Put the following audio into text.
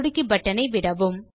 சொடுக்கி பட்டன் ஐ விடவும்